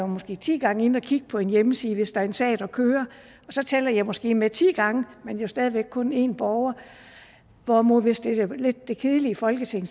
måske er ti gang inde at kigge på en hjemmeside hvis der er en sag der kører og så tæller jeg måske med ti gange men jo stadig væk kun en borger hvorimod hvis det er lidt det kedelige folketing